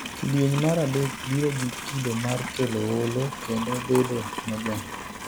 Kidieny mar dek biro gi kido mar kelo oolo kendo bedo mojony.